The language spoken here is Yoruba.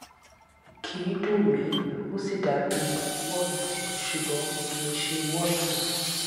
kì í dùn mí ó sì dàbí wọọtì ṣùgbọn kì í ṣe wọọtì